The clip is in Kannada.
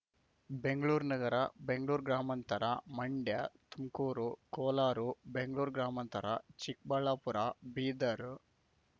ಬೆಂಗ್ಳೂರು ನಗರ ಬೆಂಗ್ಳೂರು ಗ್ರಾಮಾಂತರ ಮಂಡ್ಯ ತುಮಕೂರು ಕೋಲಾರ ಬೆಂಗ್ಳೂರು ಗ್ರಾಮಾಂತರ ಚಿಕ್ಕಬಳ್ಳಾಪುರ ಬೀದರ್‌